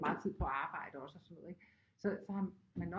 Meget tid på at arbejde også og sådan noget ikke så har man nok